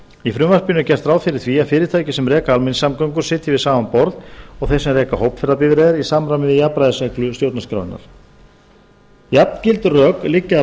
í frumvarpinu er gert ráð fyrir því að fyrirtæki sem reka almenningssamgöngum sitji við sama borð og þeir sem reka hópferðabifreiðar í samræmi við jafnræðisreglu stjórnarskrárinnar jafngild rök liggja að